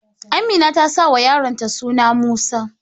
Amina ta sauwa yaron ta suna Musa